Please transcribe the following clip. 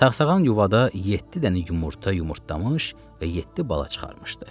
Saxsağan yuvada yeddi dənə yumurta yumurtlamış və yeddi bala çıxarmışdı.